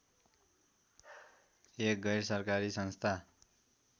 एक गैरसरकारी संस्था